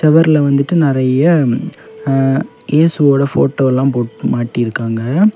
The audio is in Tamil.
சுவர்ல வந்துட்டு நிறைய ஆ இயேசுவோட போட்டோல்ல போட் மாட்டிருக்காங்க.